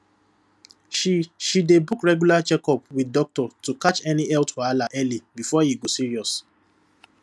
she she dey book regular checkup with doctor to catch any health wahala early before e go serious